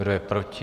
Kdo je proti?